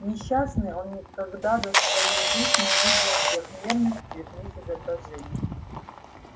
несчастный он никогда за всю свою жизнь не видел трёхмерных цветных изображений